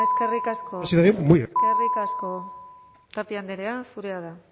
eskerrik asko casanova jauna eskerrik asko eskerrik asko tapia andrea zurea da